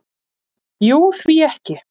"""Jú, því ekki?"""